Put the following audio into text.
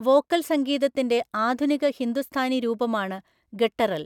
Vocal സംഗീതത്തിന്റെ ആധുനിക ഹിന്ദുസ്ഥാനി രൂപമാണ് ഗട്ടറൽ.